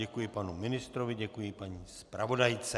Děkuji panu ministrovi, děkuji paní zpravodajce.